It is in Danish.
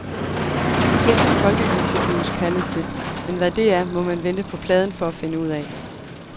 Svensk folkeviseblues, kaldes det, men hvad det er, må man vente på pladen for at finde ud af.